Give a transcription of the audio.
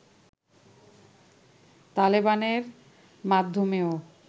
তালেবানের মাধ্যমেও